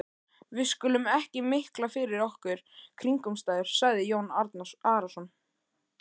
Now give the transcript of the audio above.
Við skulum ekki mikla fyrir okkur kringumstæður, sagði Jón Arason.